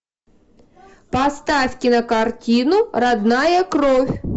поставь кинокартину родная кровь